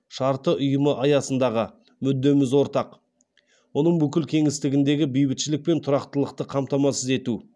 шарты ұйымы аясындағы мүддеміз ортақ оның бүкіл кеңістігіндегі бейбітшілік пен тұрақтылықты қамтамасыз ету